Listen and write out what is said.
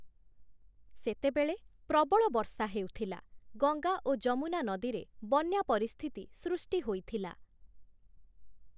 ସେତେବେଳେ ପ୍ରବଳ ବର୍ଷା ହେଉଥିଲା, ଗଙ୍ଗା ଓ ଯମୁନା ନଦୀରେ ବନ୍ୟା ପରିସ୍ଥିତି ସୃଷ୍ଟି ହୋଇଥିଲା ।